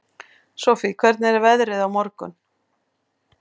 Sofie, hvernig er veðrið á morgun?